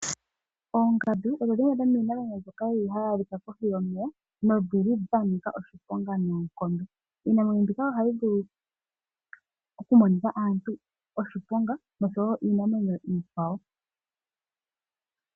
Oongandu odho dhimwe dhomiinamwenyo mbyoka yili hayi adhika kohi yomeya nodjili dha nika oshiponga noonkondo. Iinamwenyo mbika ohayi vulu okumonitha aantu oshiponga, noshowo iinamwenyo iikwawo.